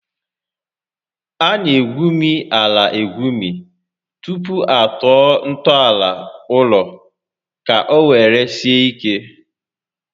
A na egwumi ala egwumi tupu atọọ ntọala ụlọ ka ọ were sie ike